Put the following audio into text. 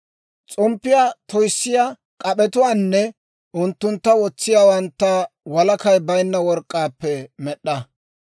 S'omppiyaa toyssiyaa k'ap'etuwaanne unttuntta wotsiyaawantta walakay baynna work'k'aappe med'd'a.